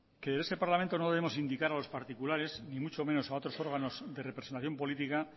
en este parlamento no debemos indicar a los particulares y mucho menos a otros órganos de representación política